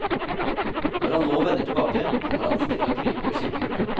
Når han nå vender tilbake, kommer han ikke til å krype over kirkegulvet.